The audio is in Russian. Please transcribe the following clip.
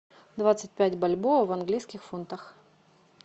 двадцать пять бальбоа в английских фунтах